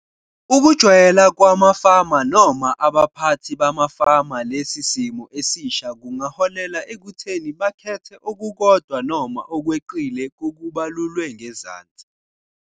Ukujwayela kwamafama noma abaphathi bamafama lesi simo esisha kungaholela ekutheni bakhethe okukodwa noma okweqile kokubalulwe ngezansi.